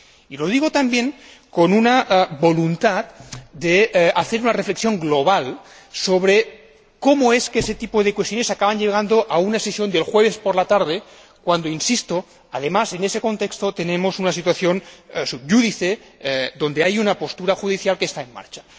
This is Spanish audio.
Y lo digo también con una voluntad de hacer una reflexión global sobre cómo es que ese tipo de cuestiones acaban llegando a una sesión del jueves por la tarde, cuando, insisto, además, en ese contexto tenemos una situación sub iudice donde hay una resolución judicial en marcha.